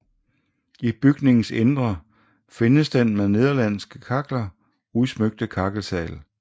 I bygningens indre findes den med nederlandske kakler udsmykte kakkelsal